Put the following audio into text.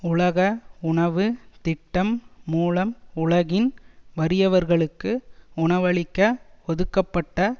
உலக உணவு திட்டம் மூலம் உலகின் வறியவர்களுக்கு உணவளிக்க ஒதுக்கப்பட்ட